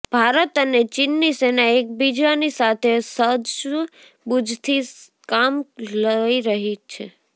ભારત અને ચીનની સેના એકબીજાની સાથે સૂજબૂજથી કામ લઈ રહી છે